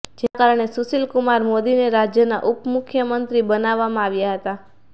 જેના કારણે સુશીલ કુમાર મોદીને રાજ્યના ઉપમુખ્યમંત્રી બનાવવામાં આવ્યા હતા